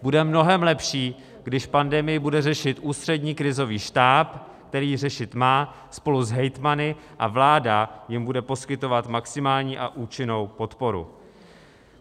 Bude mnohem lepší, když pandemii bude řešit Ústřední krizový štáb, který ji řešit má spolu s hejtmany, a vláda jim bude poskytovat maximální a účinnou podporu.